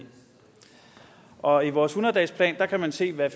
og i vores hundrede dagesplan kan man se hvad